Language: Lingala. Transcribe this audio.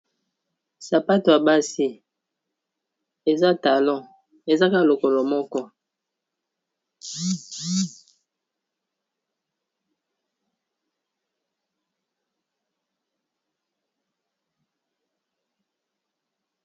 Sapato ya basi eza talon ezaka lokolo moko.